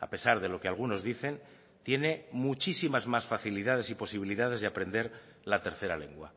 a pesar de lo que algunos dicen tiene muchísimas más facilidades y posibilidades de aprender la tercera lengua